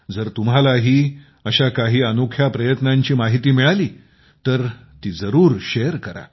जर तुम्हालाही अशा काही अनोख्या प्रयत्नांची माहिती मिळाली तर ती जरूर शेअर करा